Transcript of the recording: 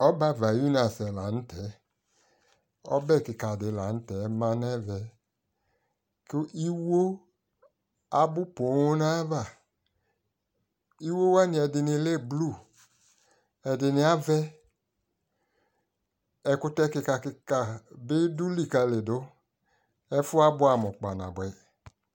Ɔbɛ ava ayune asɛ la nʋ tɛɛ Ɔbɛ kika di la nʋ tɛ ma nʋ ɛvɛ, kʋ iwo abʋ pooo n'ayava Iwo waniɛ dini lɛ blu Ɛdini avɛ Ɛkʋtɛ kikakika bi dʋ likali dʋ Ɛfuɛ abuɛamʋ kpanabuɛ